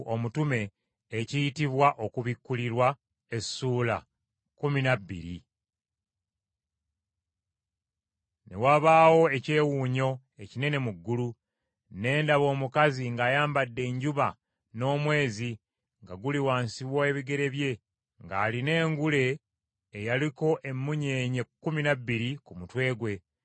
Ne wabaawo ekyewuunyo ekinene mu ggulu. Ne ndaba omukazi ng’ayambadde enjuba n’omwezi nga guli wansi wa bigere bye, ng’alina engule eyaliko emmunyeenye kkumi na bbiri ku mutwe gwe.